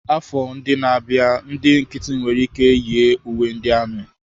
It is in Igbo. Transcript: Afọ ndị na-abịa, ndị nkịtị nwere ike yi uwe ndị amị.